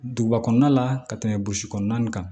Duguba kɔnɔna la ka tɛmɛ burusi kɔnɔna nin kan